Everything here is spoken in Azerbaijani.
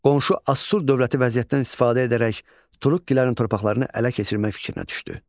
Qonşu Assur dövləti vəziyyətdən istifadə edərək Turukkilərin torpaqlarını ələ keçirmək fikrinə düşdü.